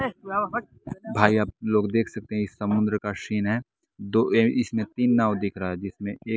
भाई आप लोग देख सकते हैं समुद्र का सीन है दो अह इसमें तीन नाव दिख रहा है जिसमें एक--